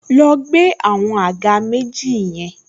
Lọ gbé àwọn àga méjì yẹn